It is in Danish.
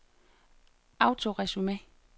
autoresume